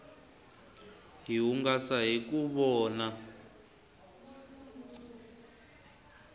hi hungasa hiku vona